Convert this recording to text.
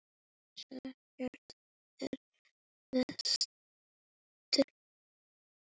Missir ykkar er mestur.